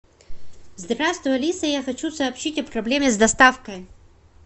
здравствуй алиса я хочу сообщить о проблеме с доставкой